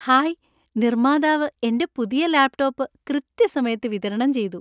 Hi, നിർമ്മാതാവ് എന്‍റെ പുതിയ ലാപ്ടോപ്പ് കൃത്യസമയത്ത് വിതരണം ചെയ്തു.